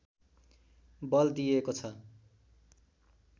बल दिएको छ